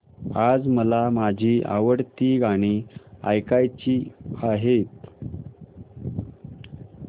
आज मला माझी आवडती गाणी ऐकायची आहेत